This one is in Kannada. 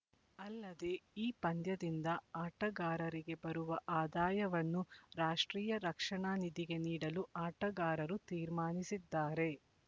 ಅಲ್ಲದೆ ಈ ಪಂದ್ಯದಿಂದ ಆಟಗಾರರಿಗೆ ಬರುವ ಆದಾಯವನ್ನು ರಾಷ್ಟ್ರೀಯ ರಕ್ಷಣಾ ನಿಧಿಗೆ ನೀಡಲು ಆಟಗಾರರು ತೀರ್ಮಾನಿಸಿದ್ದಾರೆ